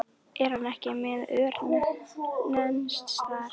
Er hann ekki með ör neins staðar?